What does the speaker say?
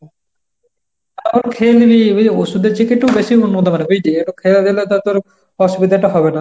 তাও খেয়ে নিবি, বুঝলি ওষুধের থেকে একটু বেশি উন্নত হবে বুঝলি, ওই যে একটু খেয়ে দিলে তো আর তোর অসুবিধাটা হবে না।